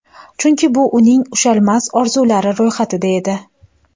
Chunki bu uning ushalmas orzulari ro‘yxatida edi.